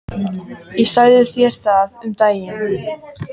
Ég sagði þér það um daginn.